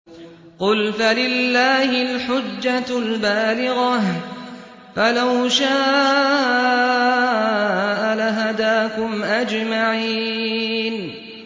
قُلْ فَلِلَّهِ الْحُجَّةُ الْبَالِغَةُ ۖ فَلَوْ شَاءَ لَهَدَاكُمْ أَجْمَعِينَ